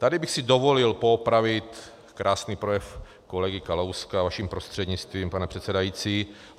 Tady bych si dovolil poopravit krásný projev kolegy Kalouska, vaším prostřednictvím, pane předsedající.